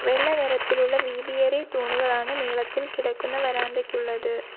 വെള്ള നിറത്തിലുള്ള വീതി ഏറിയ തൂണുകളാണ് നീളത്തിൽ കിടക്കുന്ന വരാന്തയ്ക്കുള്ളത്.